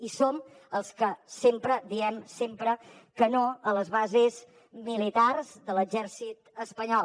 i som els que sempre diem sempre que no a les bases militars de l’exèrcit espanyol